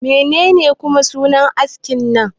Menene kuma sunan askin nan?